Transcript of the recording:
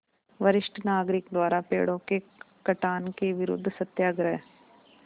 वरिष्ठ नागरिक द्वारा पेड़ों के कटान के विरूद्ध सत्याग्रह